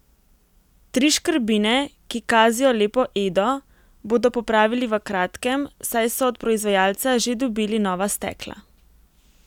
Tri škrbine, ki kazijo lepo Edo, bodo popravili v kratkem, saj so od proizvajalca že dobili nova stekla.